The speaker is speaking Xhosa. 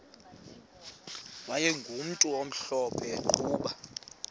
wayegumntu omhlophe eqhuba